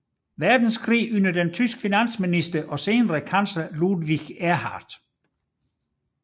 Verdenskrig under den tyske finansminister og senere kansler Ludwig Erhard